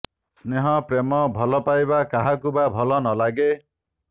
ସ୍ନେହ ପ୍ରେମ ଭଲ ପାଇବା କାହାକୁ ବା ଭଲ ନ ଲାଗେ